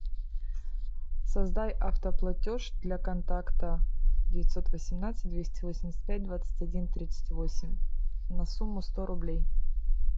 создай автоплатеж для контакта девятьсот восемнадцать двести восемьдесят пять двадцать один тридцать восемь на сумму сто рублей